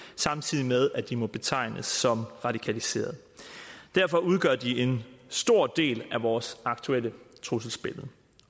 samtidig med at de må betegnes som radikaliserede derfor udgør de en stor del af vores aktuelle trusselsbillede og